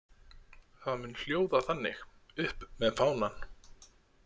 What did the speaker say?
Það mun hljóða þannig: Upp með fánann.